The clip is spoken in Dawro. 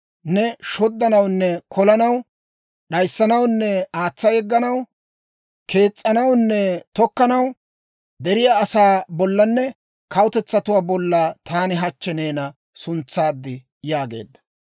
Neeni shoddanawunne kolanaw, d'ayissanawunne aatsa yegganaw, kees's'anawunne tokkanaw, deriyaa asaa bollanne kawutetsatuwaa bolla taani hachchi neena suntsaad» yaageedda.